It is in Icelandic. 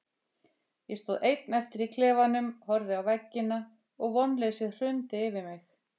Ég stóð einn eftir í klefanum, horfði á veggina og vonleysið hrundi yfir mig.